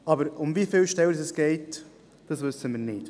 Aber um wie viele Stellen es geht, wissen wir nicht.